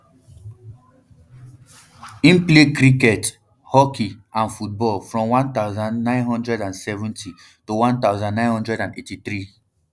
im play cricket hockey and football from one thousand, nine hundred and seventy to one thousand, nine hundred and eighty-three